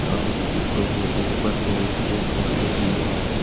और सीटों के ऊपर बहुत से फुहारे भी है।